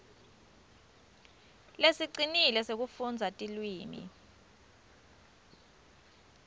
lesicinile sekufundza tilwimi